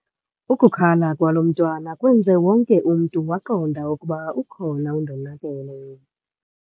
Ukukhala kwalo mntwana kwenze wonke umntu waqonda ukuba ukhona undonakele.